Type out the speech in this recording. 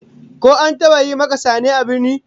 Ko an taba yi maka sane a birni?